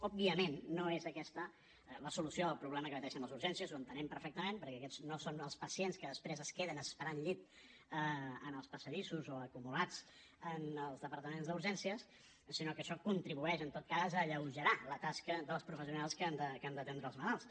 òbviament no és aquesta la solució al problema que pateixen les urgències ho entenem perfectament perquè aquests no són els pacients que després es queden esperant llit en els passadissos o acumulats en els departaments d’urgències sinó que això contribueix en tot cas a alleugerar la tasca dels professionals que han d’atendre els malalts